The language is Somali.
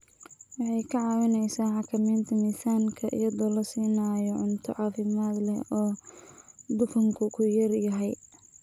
Waxay ka caawisaa xakamaynta miisaanka iyadoo la siinayo cunto caafimaad leh oo dufanku ku yar yahay.